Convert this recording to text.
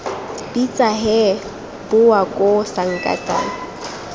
bitsa hee bowa koo sankatane